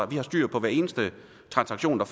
vi har styr på hver eneste transaktion der